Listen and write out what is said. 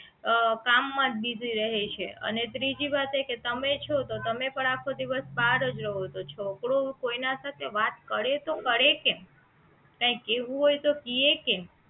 અ કામ માં જ બીઝી રહે છે અને ત્રીજી વાત એ કે તમે છો તો તમે પણ આખો દિવસ બહાર જ રહો છો તો છોકરો કોઈ ના સાથે વાત કરે તો કરે કેમ કાઇંક કહેવું હોય તો કહે કેમ